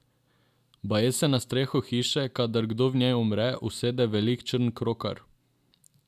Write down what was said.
Baje se na streho hiše, kadar kdo v njej umre, usede velik črn krokar.